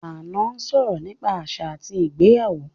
Ànọ́ sọ̀rọ̀ nípa àṣà àti ìgbéyàwó